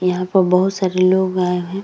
यहाँ पे बहुत सारे लोग आए है।